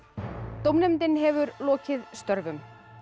dómnefndin hefur lokið störfum